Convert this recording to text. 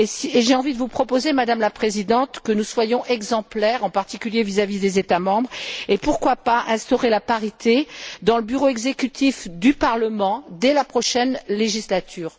Et j'ai envie de vous proposer, Madame la Présidente, que nous soyons exemplaires, en particulier vis à vis des États membres, et pourquoi pas d'instaurer la parité dans le Bureau exécutif du Parlement dès la prochaine législature.